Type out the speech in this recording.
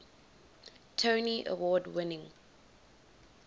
tony award winning